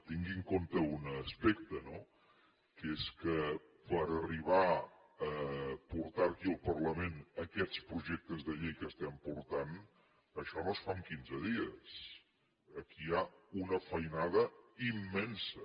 tingui en compte un aspecte no que és que per arribar a portar aquí al parlament aquests projectes de llei que estem portant això no es fa en quinze dies aquí hi ha una feinada immensa